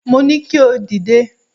Mo ní kí o dìde.